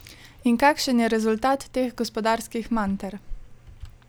In kakšen je rezultat teh gospodarskih manter?